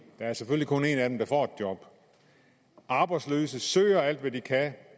er selvfølgelig kun en af dem der får et job arbejdsløse søger alt hvad de kan